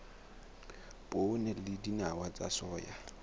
poone le dinawa tsa soya